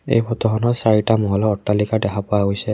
এই ফটোখনত চাৰিটা মহলা অট্টালিকা দেখা পোৱা গৈছে।